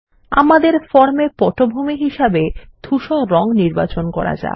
আমাদের ফর্ম এ পটভূমি হিসেবে ধুসর রং নির্বাচন করা যাক